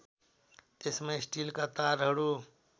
त्यसमा स्टीलका तारहरू